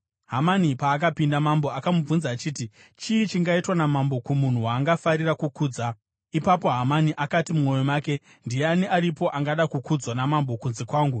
Hamani paakapinda, mambo akamubvunza achiti, “Chii chingaitwa namambo kumunhu waangafarira kukudza?” Ipapo Hamani akati mumwoyo make, “Ndiani aripo angada kukudzwa namambo kunze kwangu?”